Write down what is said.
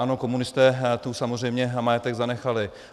Ano, komunisté tu samozřejmě majetek zanechali.